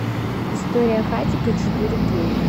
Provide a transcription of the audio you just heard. история хатико четыре кей